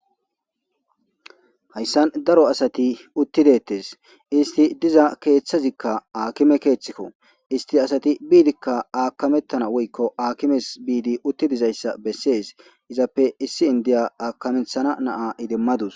hayssan daro asati uttidettes isti diza keeththazikka aakime keeththikko isti asati biidikka aakamettana woykko aakimes biidi uttidizayssa bessees izappe issi indiya aakamethana naa idimmadus